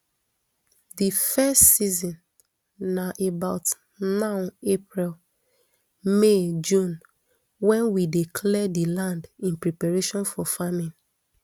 di first season na about now april may june wen we dey clear di land in preparation for farming